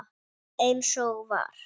Eins og var.